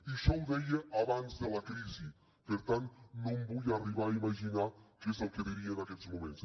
i això ho deia abans de la crisi per tant no em vull arribar a imaginar què és el que diria en aquests moments